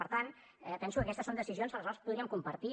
per tant penso que aquestes són decisions les quals podríem compartir